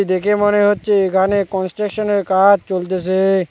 দেখে মনে হচ্ছে এখানে কনস্ট্রাকশনের কাজ চলতেছে।